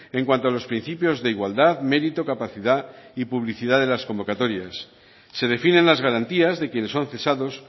en cuanto a los principios de igualdad mérito capacidad y publicidad de las convocatorias se definen las garantías de quienes son cesados